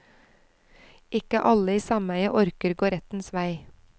Ikke alle i sameiet orker gå rettens vei.